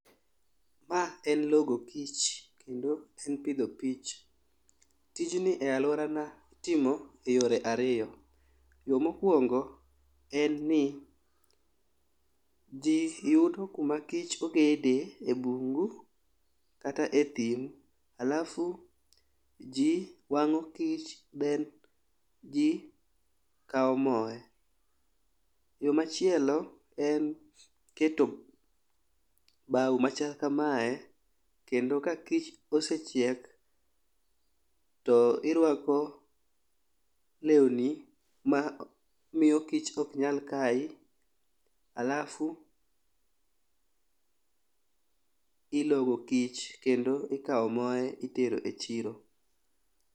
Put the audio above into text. Ma en logo kich kendo en pidho kich. Tijni e aluorana itimo e yore ariyo, yoo mokwongo en ni jii yudo kuma kich ogede e bungu kata e thim alafu jii wang'o kich then jii kawo mooe. Yoo machielo en keto bao machal kamae kendo ka kich osechiek to irwako lewni ma miyo kich ok nyal kayi alafu ilogo kich kendo ikawo moye itero e chiro.